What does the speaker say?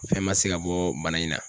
Fɛn ma se ka bɔ bana in na.